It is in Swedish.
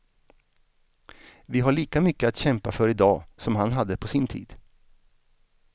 Vi har lika mycket att kämpa för i dag som han hade på sin tid.